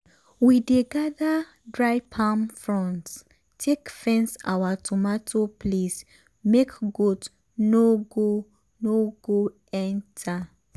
we dey gather dry palm fronds take fence our tomato place make goat no go no go enter.